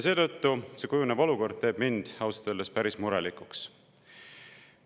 Seetõttu teeb kujunev olukord mind ausalt öeldes päris murelikuks.